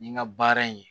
Nin ka baara in